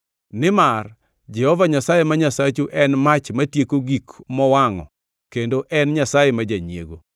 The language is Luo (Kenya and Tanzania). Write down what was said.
Nimar Jehova Nyasaye ma Nyasachu en mach matieko gik mowangʼo kendo en Nyasaye ma janyiego.